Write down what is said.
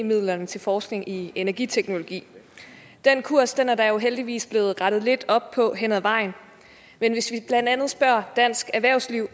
midlerne til forskning i energiteknologi den kurs er der heldigvis blevet rettet lidt op på hen ad vejen men hvis vi blandt andet spørger dansk erhvervsliv